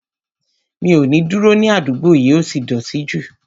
Mi ò ní dúró ní àdúgbò yìí, ó ti dọ̀ọ̀tí jù